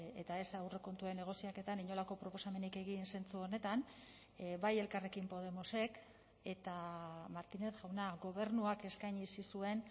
eta ez aurrekontuen negoziaketan inolako proposamenik egin zentzu honetan bai elkarrekin podemosek eta martínez jauna gobernuak eskaini zizuen